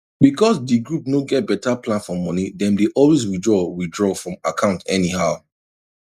because di group no get better plan for money dem dey always withdraw withdraw from account anyhow